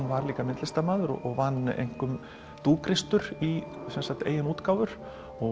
var líka myndlistarmaður og vann einkum í eigin útgáfur